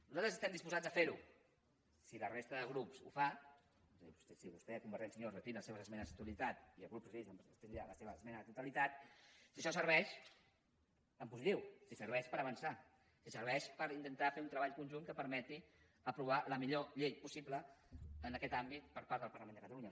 nosaltres estem disposats a fer ho si la resta de grups ho fa és a dir si vostè convergència i unió retira les seves esmenes a la totalitat i el grup socialista retira la seva esmena a la totalitat si això serveix en positiu si serveix per avançar si serveix per intentar fer un treball conjunt que permeti aprovar la millor llei possible en aquest àmbit per part del parlament de catalunya